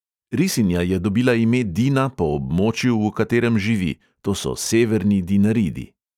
Risinja je dobila ime dina po območju, v katerem živi, to so severni dinaridi.